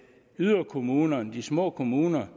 yderkommunerne de små kommuner